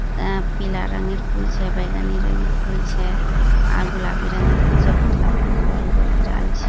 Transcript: ये पीला रंगे फूल छै बैगनी रंगे फूल छै अ गुलाबी रंगे फूल छै ।